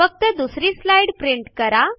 फक्त दुसरी slide print करा